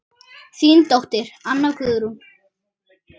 Þín dóttir, Anna Guðrún.